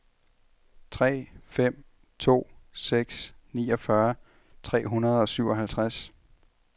tre fem to seks niogfyrre tre hundrede og syvoghalvtreds